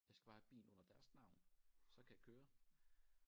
Jeg skal bare have bilen under deres navn så kan jeg køre